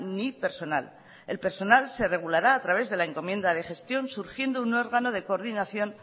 ni personal el personal se regulará a través de la encomienda de gestión surgiendo un órgano de coordinación